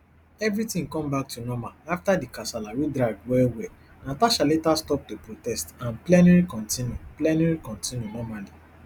evritin comeback to normal afta di kasala wey drag wellwell natasha later stop to protest and plenary kontinu plenary kontinu normally